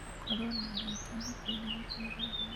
Gũkorũo na arata a hakuhĩ nĩ gũteithagia